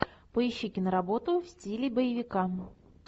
поищи киноработу в стиле боевика